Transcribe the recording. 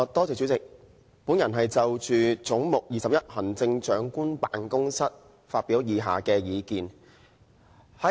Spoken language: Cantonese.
主席，我要就"總目 21― 行政長官辦公室"發表以下的意見。